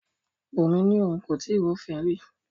Bunmi ni oun ko tii rufin ri